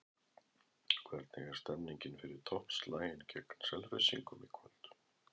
Hvernig er stemningin fyrir toppslaginn gegn Selfyssingum í kvöld?